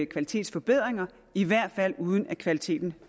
kvalitetsforbedringer i hvert fald uden at kvaliteten